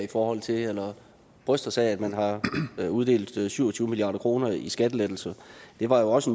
i forhold til altså bryster sig af at man har uddelt syv og tyve milliard kroner i skattelettelser det var jo også